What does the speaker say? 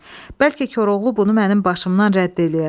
Bəlkə Koroğlu bunu mənim başımdan rədd eləyə.